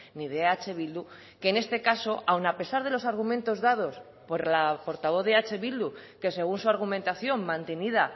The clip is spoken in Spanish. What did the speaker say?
ni de eh bildu que en este caso aun a pesar de los argumentos dados por la portavoz de eh bildu que según su argumentación mantenida